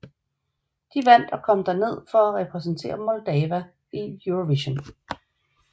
De vandt og kom dermed til at repræsentere Moldava i Eurovision